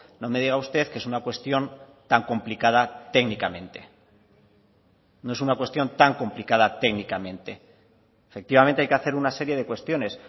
no me diga usted que es una cuestión tan complicada técnicamente no es una cuestión tan complicada técnicamente efectivamente hay que hacer una serie de cuestiones